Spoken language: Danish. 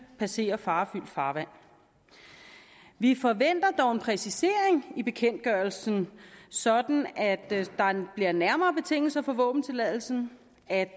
passerer farefyldt farvand vi forventer dog en præcisering i bekendtgørelsen sådan at der bliver nærmere betingelser for våbentilladelsen at